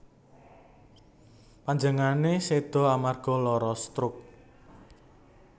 Panjenengane seda amarga lara stroke